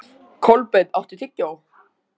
Kolbeinn, áttu tyggjó?